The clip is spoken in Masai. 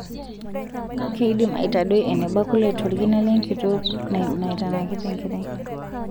Keidim aitadoi eneba kule tolkina lenkitok naitanakita enkerai.